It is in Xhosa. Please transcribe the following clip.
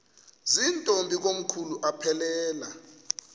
zirntombi komkhulu aphelela